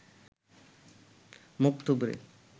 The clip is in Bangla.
মুখ থুবড়ে